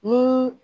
Ni